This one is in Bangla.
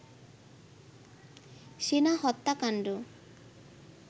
সেনা হত্যাকাণ্ড